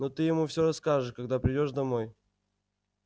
но ты ему всё расскажешь когда придёшь домой